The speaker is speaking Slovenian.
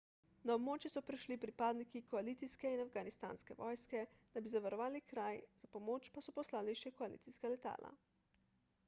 na območje so prišli pripadniki koalicijske in afganistanske vojske da bi zavarovali kraj za pomoč pa so poslali še koalicijska letala